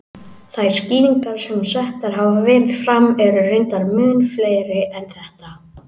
Þær skýringar sem settar hafa verið fram eru reyndar mun fleiri en þetta.